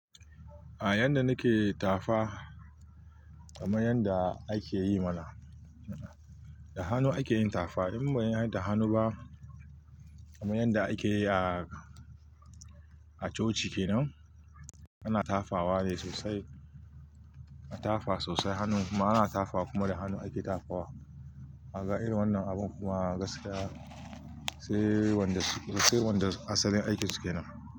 A yanda nake tafa, kamar yanda akeyi mana. Da hannu ake yin tafa in ban yi da hannu ba kamar yanda akeyi a coci kenan ana tafawa ne sosai, tafa sosai hannu kuma ana tafa kuma da hannu ake tafawa. Aga irin wannan abun kuma gaskiya sai wanda asalin aikin su kenan.